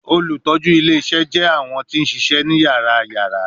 Olutọju ile-iṣẹ jẹ awọn ti n ṣiṣẹ ni yàrá-yàrá